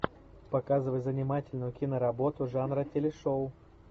показывай занимательную киноработу жанра телешоу